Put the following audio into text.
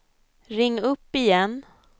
ring upp igen